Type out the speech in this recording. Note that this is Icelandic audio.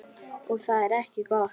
Og það er ekki gott.